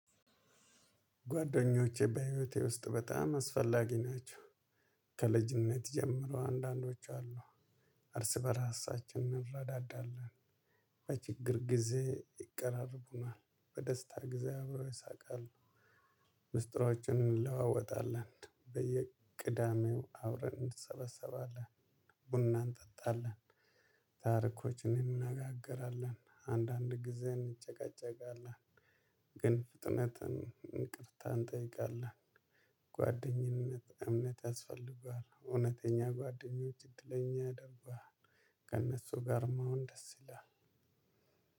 ጓደኞቼ በህይወቴ ውስጥ በጣም አስፈላጊ ናቸው። ከልጅነት ጀምረው አንዳንዶቹ አሉ። እርስ በራሳችን እንረዳዳለን። በችግር ጊዜ ይቀራርቡናል በደስታ ጊዜ አብረው ይስቃሉ። ሚስጥሮችን እንለዋወጣለን በየቅዳሜው አብረን እንሰበሰባለን ቡና እንጠጣለን። ታሪኮች እንነጋገራለን አንዳንድ ጊዜ እንጨቃጨቃለን። ግን ፍጥነትን ይቅርታ እንጠይቃለን። ጓደኝነት እምነት ያስፈልጉሃል እውነተኛ ጓደኞች እድለኛ ያደርጉሃል። ከእነሱ ጋር መሆን ደስ ይላል።